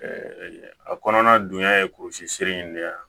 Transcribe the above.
a kɔnɔna dunya ye kurusi sere in de ye wa